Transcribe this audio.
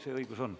See õigus on.